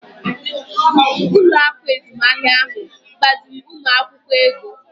Ụlọ akụ azụmahịa ahụ gbaziiri ụmụ akwụkwọ ego.